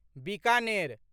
Bikaner